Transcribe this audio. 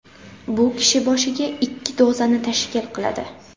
Bu kishi boshiga ikki dozani tashkil qiladi.